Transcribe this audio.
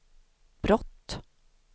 brott